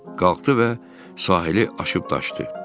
Qalxdı və sahili aşıb daşdı.